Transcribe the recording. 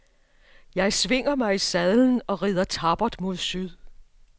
Jeg svinger mig i sadlen og ridder tappert mod syd.